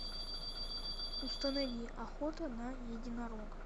установи охота на единорога